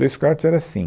Dois quartos era assim.